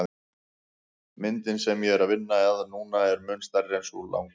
Myndin sem ég er að vinna að núna er mun stærri en sú langa.